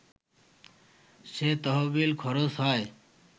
সে তহবিল খরচ হয়